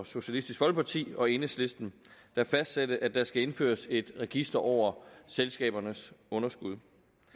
socialistisk folkeparti og enhedslisten der fastsatte at der skal indføres et register over selskabernes underskud